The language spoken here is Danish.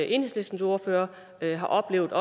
enhedslistens ordfører har oplevet